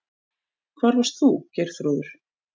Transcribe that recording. Það varst þú, Geirþrúður.